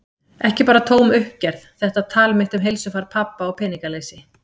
Ekki bara tóm uppgerð, þetta tal mitt um heilsufar pabba og peningaleysi.